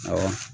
Awɔ